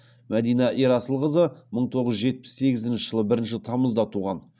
мәдина ерасылқызы мың тоғыз жүз жетпіс сегізінші жылы бірінші тамызда туған